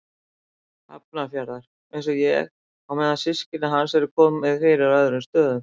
Hafnarfjarðar, einsog ég, á meðan systkinum hans er komið fyrir á öðrum stöðum.